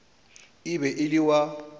e be e le wa